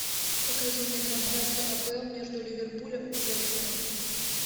покажи мне трансляцию апл между ливерпулем и лестером